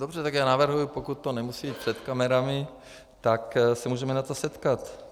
Dobře, tak já navrhuji, pokud to nemusí jít před kamerami, tak se můžeme na to setkat.